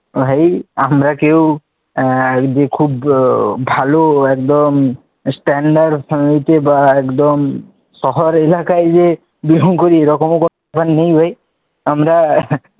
আরে আমরা কেউ যে খুব ভালো একদম standard family বা একদম শহর এলাকায় যে belong করি এরকম কোন ব্যাপার নেই ভাই আমরা,